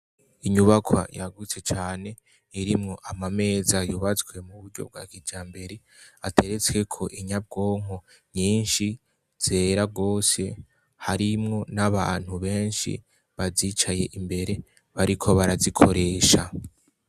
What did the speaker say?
Inyubakwa yagutse cane irimwo amameza yubazwe mu buryo bwa kija mbere ateretswe ko inyabwonko nyinshi zera rwose harimwo n'abantu benshi bazicaye imbere bariko barazikoresha.